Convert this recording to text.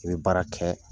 I bɛ baara kɛ